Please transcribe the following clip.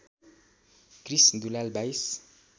Krrish Dulal २२